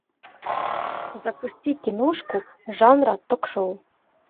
запусти киношку жанра ток шоу